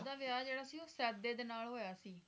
ਓਹਦਾ ਵਿਆਹ ਜਿਹੜਾ ਸੀ ਉਹ ਸੈਦੇ ਦੇ ਨਾਲ ਹੋਇਆ ਸੀ